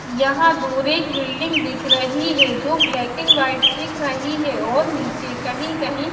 यहां दूर एक बिल्डिंग दिख रही है जो ब्लैक एंड व्हाइट दिख रही है और नीचे कहीं कहीं--